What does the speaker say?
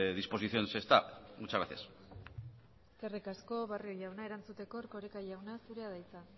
disposición se está muchas gracias eskerrik asko barrio jauna erantzuteko erkoreka jauna zurea da hitza